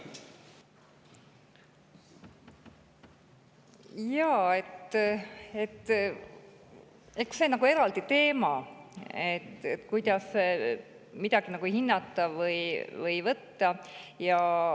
Jaa, eks see on eraldi teema, kuidas midagi hinnata või võtta.